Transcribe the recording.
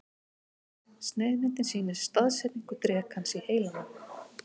Sneiðmyndin sýnir staðsetningu drekans í heilanum.